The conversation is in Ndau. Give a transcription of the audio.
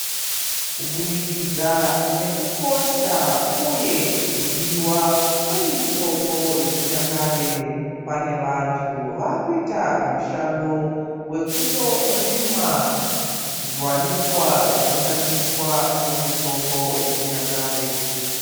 Kubudikidza nekukosha, uye kudiwa kwemitombo yechinyakare, pane vantu vaakuita mushando wekutorima zviwanikwa zvinoshandiswa, semitombo yechinyakare.